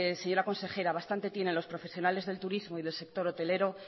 señora consejera bastante tiene los profesionales del turismo y del sector hotelero